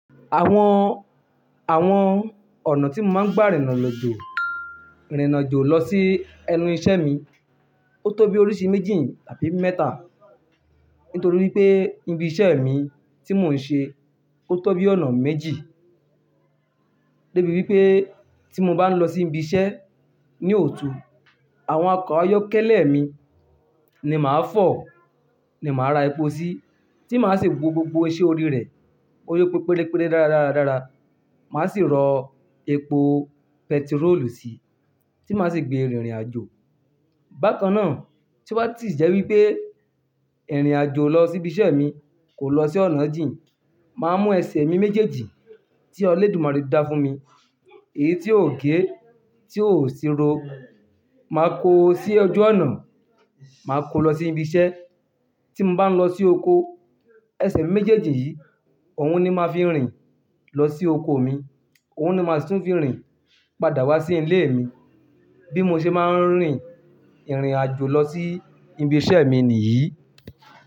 Àwọn, àwọn ọ̀nà tí mo máa ń gbà rìnrìn àjò, rìnrìn àjò lọ sí ẹnu iṣẹ́ mi, ó tó bí oríṣi méjì tàbí mẹ́ta. Nítorí wípé ibi iṣẹ́ mi tí mò ń ṣe ó tó bí ọ̀nà méjì. Débi wípé tí mo bá ń lọ sí ibi iṣẹ́ ní ọ̀tù, àwọn ọkọ̀ ayọ́kẹ́lẹ́ mi ni màá fọ̀, ni màá ra epo sí, tí màá sì wo gbogbo iṣẹ́ orí rẹ̀, bóyọ pé perepere dáradára, màá sì rọ epo pẹtirólù sí, tí màá sì gbé rìnrìn àjò. Bákannáà, tí ó bá ti jẹ́ wípé ìrìn àjò lọ sí ibi iṣẹ́ mi kò lọ sí ọ̀nà jìn, màá mú ẹsẹ̀ mi méjèèjì tí Ọlọ́dùmarè dá fún mi, èyí tí ò gé, tí ò síro, màá kó o sí ojú ọ̀nà, màá kó o lọ sí ibi iṣẹ́. Tí mo bá ń lọ sí oko, ẹsẹ̀ méjèèjì yìí, òun ni màá fi ń rìn lọ sí oko mi, òun ni màá tún fi ń rìn padà wá sí ilé mi. Bí mo ṣe máa ń rìn ìrìn àjò lọ sí ibi iṣẹ́ mi nìyí.